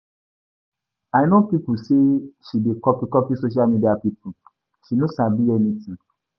I no know sey she dey copy-copy social media pipu, she no sabi anytin